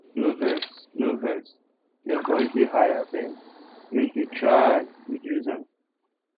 no vex no vex your voice dey high abeg make you try reduce am